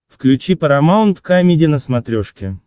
включи парамаунт камеди на смотрешке